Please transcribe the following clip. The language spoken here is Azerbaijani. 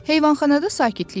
Heyvanxanada sakitlik idi.